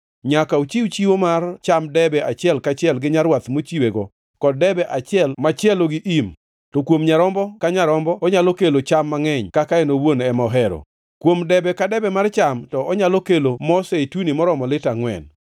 Nyaka ochiw chiwo mar cham debe achiel kaachiel gi rwath michiwego, kod debe achiel machielo gi im, to kuom nyarombo ka nyarombo onyalo kelo cham mangʼeny kaka en owuon ema ohero. Kuom debe ka debe mar cham, to onyalo kelo mo zeituni moromo lita angʼwen.